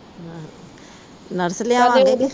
ਨੱਥ ਲਿਯਾਦੇਂਗੇ